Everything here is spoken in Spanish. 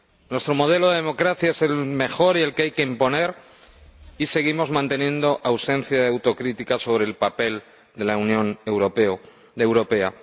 Nuestro modelo de democracia es el mejor y el que hay que imponer, y seguimos manteniendo ausencia de autocrítica sobre el papel de la Unión Europea.